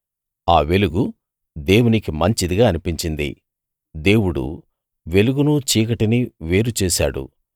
ఆ వెలుగు దేవునికి మంచిదిగా అనిపించింది దేవుడు వెలుగునూ చీకటినీ వేరు చేశాడు